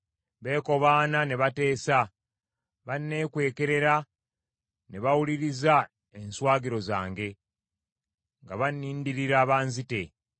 Beekobaana ne bateesa, banneekwekerera ne bawuliriza enswagiro zange; nga bannindirira banzite.